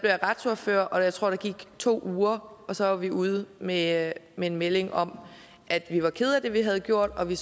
jeg retsordfører og jeg tror der gik to uger og så var vi ude med med en melding om at vi var kede af det vi havde gjort og at vi